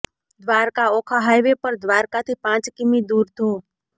Dwarka Okha highway પર દ્વારકાથી પાંચ કિમી દુર ધો